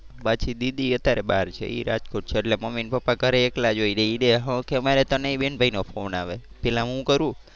પાછી દીદી અત્યારે બહાર છે એ રાજકોટ છે. એટલે મમ્મી ને પપ્પા ઘરે એકલા જ હોય. અમારે ત્રણેય ભાઈ બહેન નો ફોન આવે. પહેલા હું કરું.